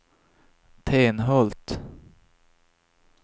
Tenhult